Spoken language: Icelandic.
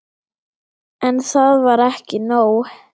En það var ekki nóg.